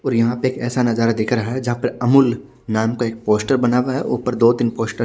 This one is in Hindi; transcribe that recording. और यहां पे एक ऐसा नजारा दिख रहा है जहां पे अमूल नाम का एक पोस्टर बना हुआ हैं ऊपर दो तीन पोस्टर --